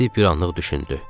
Stiv bir anlıq düşündü.